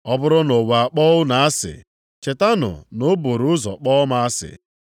“Ọ bụrụ na ụwa akpọọ unu asị, chetanụ na o buru ụzọ kpọọ m asị.